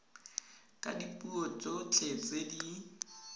ka dipuo tsotlhe tse di